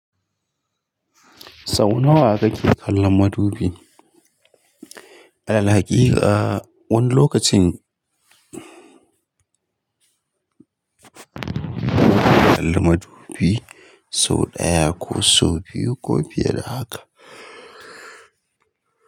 Sau nawa kake kallon madubi? Alalhakika wani lokacin kallon madubi sau ɗaya ko sau biyu ko fiye da haka.